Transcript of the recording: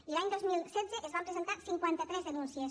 i l’any dos mil setze es van presentar cinquanta tres denúncies